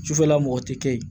Sufɛla mɔgɔ tɛ kɛ yen